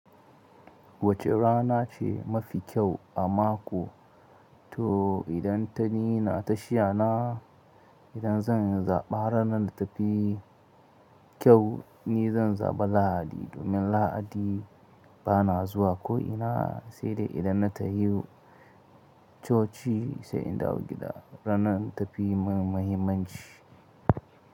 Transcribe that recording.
Wace rana ce mafi kyau a mako? To idan ta ni na tashiya na, idan zan zaɓa ranar da tafi kyau, ni zan zaɓa Lahadi domin Lahadi bana zuwa ko'ina sai dai idan na tahiyo coci sai in dawo gida. Ranar ta fi mun muhimmanci.